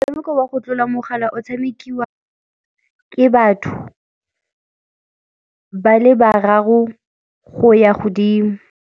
Motshameko wa go tlola mogala o tshamekiwa ke batho ba le bararo go ya godimo.